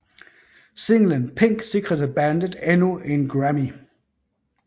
Singlen Pink sikrede bandet endnu en Grammy